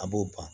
A b'o ban